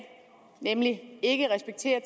nemlig ikke respekterer